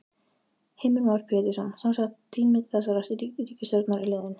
Heimir Már Pétursson: Semsagt tími þessarar ríkisstjórnar er liðinn?